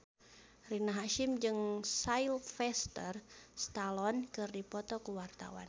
Rina Hasyim jeung Sylvester Stallone keur dipoto ku wartawan